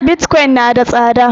Bitcoin na da tsada